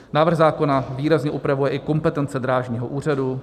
Návrh zákona výrazně upravuje i kompetence drážního úřadu.